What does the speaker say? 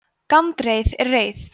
gandreið er reið